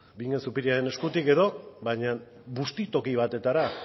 bingen zupiriaren eskutik edo baina bustitoki batetara